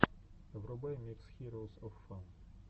врубай микс хироус оф фан